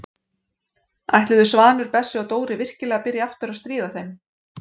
Ætluðu Svanur, Bessi og Dóri virkilega að byrja aftur að stríða þeim?